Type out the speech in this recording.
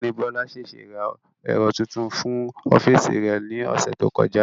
Ọ̀gbẹ́ni Bọ́lá ṣèṣé ra ẹ̀rọ tuntun fún ọ́fíìsì rẹ̀ ní ọ̀sẹ̀ tó kọjá